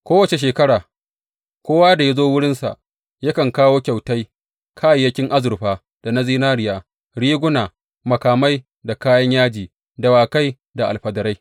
Kowace shekara, kowa da ya zo wurinsa yakan kawo kyautai, kayayyakin azurfa da na zinariya, riguna, makamai, da kayan yaji, dawakai da alfadarai.